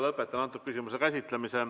Lõpetan selle küsimuse käsitlemise.